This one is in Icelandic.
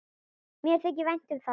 Mér þykir vænt um það.